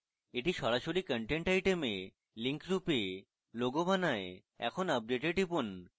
এটি সরাসরি content আইটেমে link রূপে logo বানায় এখন update a টিপুন